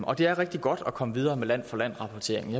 og det er rigtig godt at komme videre med land for land rapporteringen